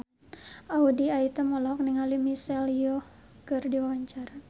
Audy Item olohok ningali Michelle Yeoh keur diwawancara